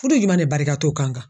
Furu juman de barika t'o kan